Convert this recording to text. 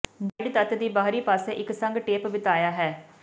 guide ਤੱਤ ਦੀ ਬਾਹਰੀ ਪਾਸੇ ਇੱਕ ਸੰਘ ਟੇਪ ਬਿਤਾਇਆ ਹੈ